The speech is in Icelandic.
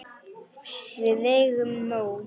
Við eigum nóg.